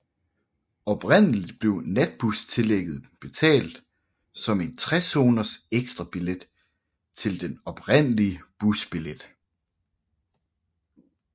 Oprindeligt blev natbustillægget betalt som en 3 zoners ekstrabillet til den oprindelige busbillet